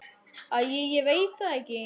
Æi ég veit það ekki.